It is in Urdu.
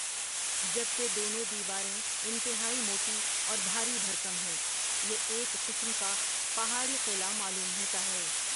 جب کہ دونوں دیواریں انتہائی موٹی اور بھاری بھرکم ہیں یہ ایک قسم کا پہاڑی قلعہ معلوم ہوتا ہے ۔